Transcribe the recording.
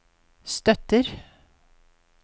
støtter